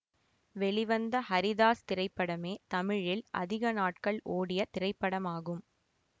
வெளிவந்த ஹரிதாஸ் திரைப்படமே தமிழில் அதிக நாட்கள் ஓடிய திரைப்படமாகும்